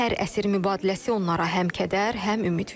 Hər əsir mübadiləsi onlara həm kədər, həm ümid verir.